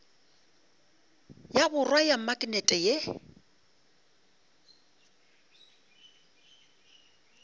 ya borwa ya maknete ye